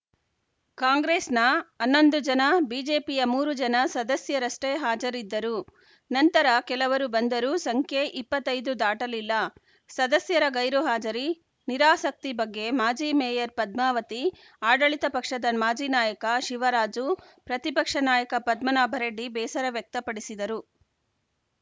ಕಾಂಗ್ರೆಸ್‌ನ ಹನ್ನೊಂದು ಜನ ಬಿಜೆಪಿಯ ಮೂರು ಜನ ಸದಸ್ಯರಷ್ಟೇ ಹಾಜರಿದ್ದರು ನಂತರ ಕೆಲವರು ಬಂದರೂ ಸಂಖ್ಯೆ ಇಪ್ಪತ್ತ್ ಐದು ದಾಟಲಿಲ್ಲ ಸದಸ್ಯರ ಗೈರು ಹಾಜರಿ ನಿರಾಸಕ್ತಿ ಬಗ್ಗೆ ಮಾಜಿ ಮೇಯರ್‌ ಪದ್ಮಾವತಿ ಆಡಳಿತ ಪಕ್ಷದ ಮಾಜಿ ನಾಯಕ ಶಿವರಾಜು ಪ್ರತಿಪಕ್ಷ ನಾಯಕ ಪದ್ಮನಾಭರೆಡ್ಡಿ ಬೇಸರ ವ್ಯಕ್ತಪಡಿಸಿದರು